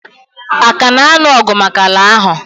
Aka na anụ ọgụ maka ala ahụ?